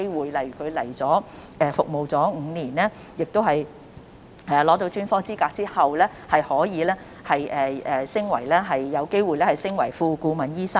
舉例而言，他們來港服務5年加上取得專科資格後，可以有機會晉升為副顧問醫生。